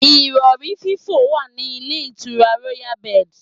Ìrọ̀rí fífò wà ní ilé ìtura Royal Birds.